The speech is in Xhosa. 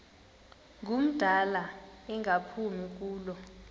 ngumdala engaphumi kulo